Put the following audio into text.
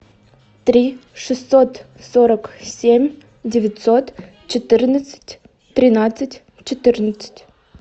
три шестьсот сорок семь девятьсот четырнадцать тринадцать четырнадцать